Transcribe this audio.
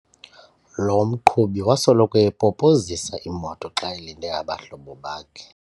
Lo mqhubi wasoloko epopozisa imoto xa elinde abahlobo bakhe.